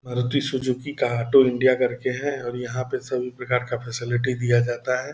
Maruti Suzuki का हटो India करके है और यहाँ पे सभी प्रकार का फैसिलिटी दिया जाता है ।